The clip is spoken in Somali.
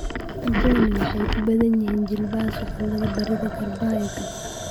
Kuwani waxay ku badan yihiin jilbaha, suxullada, barida iyo garbaha garbaha.